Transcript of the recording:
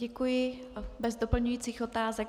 Děkuji - bez doplňujících otázek.